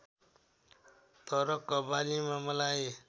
तर कव्वालीमा मलाई